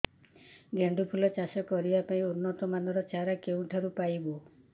ଗେଣ୍ଡୁ ଫୁଲ ଚାଷ କରିବା ପାଇଁ ଉନ୍ନତ ମାନର ଚାରା କେଉଁଠାରୁ ପାଇବୁ